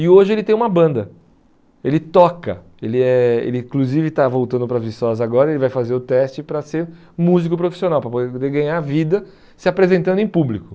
E hoje ele tem uma banda, ele toca, ele é ele inclusive está voltando para Viçosa agora, ele vai fazer o teste para ser músico profissional, para poder poder ganhar vida se apresentando em público.